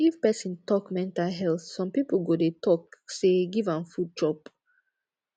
if pesin tok mental health som pipo go dey tok say giv am food chop